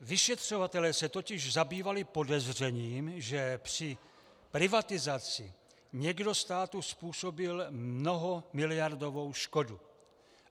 Vyšetřovatelé se totiž zabývali podezřením, že při privatizaci někdo státu způsobil mnohamiliardovou škodu.